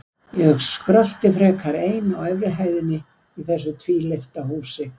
Ég skrölti frekar ein á efri hæðinni í þessu tvílyfta húsi.